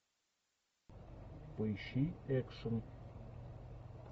поищи экшн